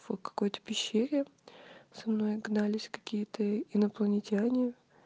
фу в какой то пещере со мной гнались какие то инопланетяне